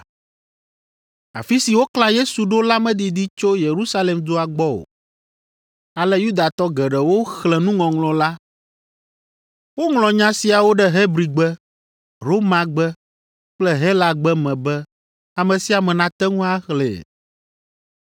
Afi si woklã Yesu ɖo la medidi tso Yerusalem dua gbɔ o, ale Yudatɔ geɖewo xlẽ nuŋɔŋlɔ la. Woŋlɔ nya siawo ɖe Hebrigbe, Romagbe kple Helagbe me be ame sia ame nate ŋu axlẽe.